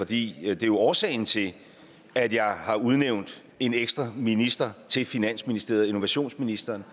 det er jo årsagen til at jeg har udnævnt en ekstra minister i finansministeriet nemlig innovationsministeren